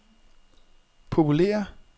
populære